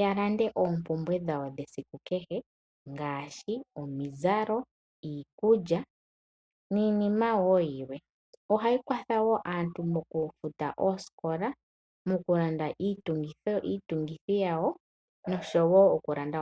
ya lande oompumbwe dhawo dhesiku kehe ngaashi omizalo, iikulya niinima wo yilwe. Ohayi kwatha wo aantu mokufuta osikola, moku landa iitungithi yawo.